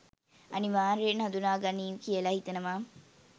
අනිවාර්යෙන් හඳුනා ගනීවි කියලා හිතනවා.